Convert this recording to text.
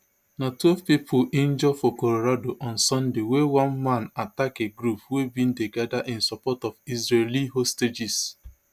na twelve pipoinjure for colorado on sundaywen one man attack a group wey bin dey gada in support of israeli hostages